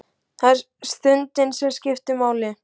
Það er stundin sem skiptir máli.